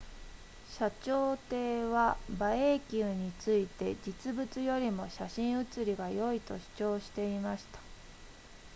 謝長廷は馬英九について実物よりも写真写りが良いと主張していました